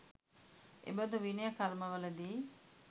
එබඳු විනය කර්මවලදී